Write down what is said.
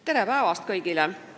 Tere päevast kõigile!